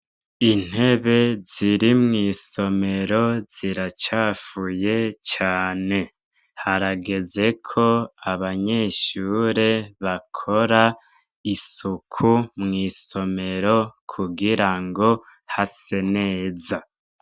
Intebe ziri mw'isomero ziracafuye cane. Harageze ko abanyeshure bakora isuku mw'isomero kugirango hase neza.